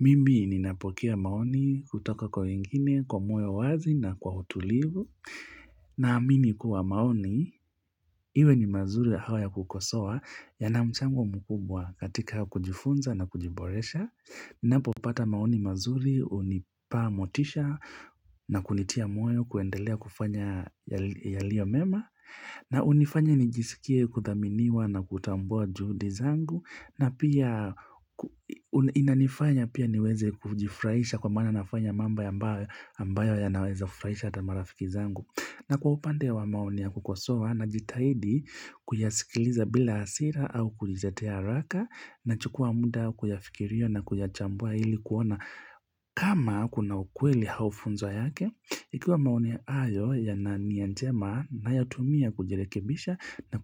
Mimi ninapokea maoni kutoka kwa wengine, kwa moyo wazi na kwa utulivu. Naamini kuwa maoni, iwe ni mazuri au ya kukosoa yana mchango mkubwa katika kujifunza na kujiboresha. Napopata maoni mazuri, hunipa motisha na kunitia moyo kuendelea kufanya yaliyo mema. Na hunifanya nijisikie kuthaminiwa na kutambua juhudi zangu na pia inanifanya pia niweze kujifurahisha kwa maana nafanya mambo ambayo yanaweza furahisha ata marafiki zangu. Na kwa upande wa maoni ya kukosoa najitahidi kuyasikiliza bila hasira au kujitetea haraka nachukua muda kuyafikiria na kuyachambua ili kuona kama kuna ukweli au funzo yake. Ikiwa maoni hayo yana nia njema nayatumia kujirekebisha na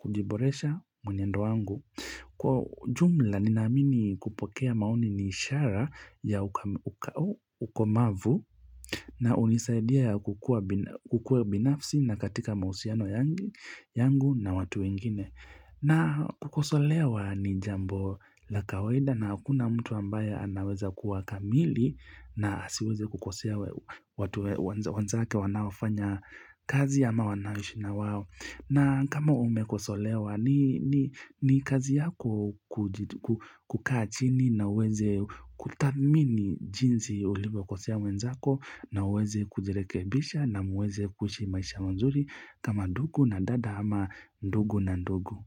kujiboresha mwenendo wangu. Kwa ujumla ninaamini kupokea maoni ni ishara ya ukomavu na hunisaidia kukua binafsi na katika mahusiano yangu na watu wengine na kukosolewa ni jambo la kawaida na hakuna mtu ambaye anaweza kuwa kamili na asiweze kukosea watu wenzake wanaoafanya kazi ama wanaoishi na wao. Na kama umekosolewa ni kazi yako kukaa chini na uweze kutathmini jinsi ulivyokosea mwenzako na uweze kujirekebisha na muweze kuishi maisha mazuri kama ndugu na dada ama ndugu na ndugu.